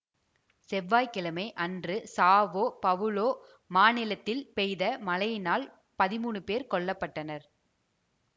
செவ்வாய் கிழமை அன்று சாவோ பவுலோ மாநிலத்தில் பெய்த மழையினால் பதிமூனு பேர் கொல்ல பட்டனர்